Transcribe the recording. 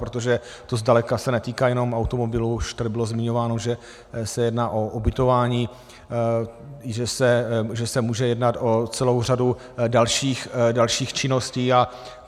Protože to zdaleka se netýká jenom automobilů, už tady bylo zmiňováno, že se jedná o ubytování, že se může jednat o celou řadu dalších činností.